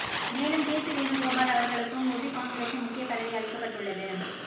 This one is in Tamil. மேலும் கேசி வேணுகோபால் அவர்களுக்கும் உபி காங்கிரஸில் முக்கிய பதவி அளிக்கப்பட்டுள்ளது